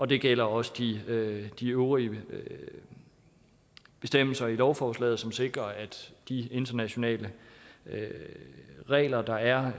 det gælder også de øvrige de øvrige bestemmelser i lovforslaget som sikrer at de internationale regler der er